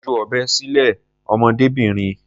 Ju ọ̀bẹ sílẹ̀, ọmọdébìnrin.